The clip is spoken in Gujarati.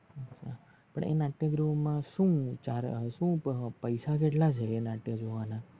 પણ એ નટક્યગૃહ મા સુ સુ પૈસા કેટલા છે? એ નાટ્ય જોવાના